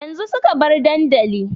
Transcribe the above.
Yanzu suka bar dandali